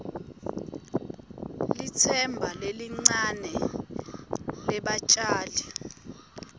litsemba lelincane lebatjali